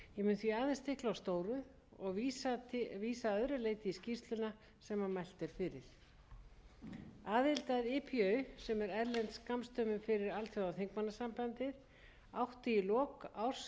stóru og vísa að öðru leyti í skýrsluna sem mælt er fyrir aðild að ipu sem er erlend skammstöfun fyrir alþjóðaþingmannasambandið átti í lok árs tvö þúsund og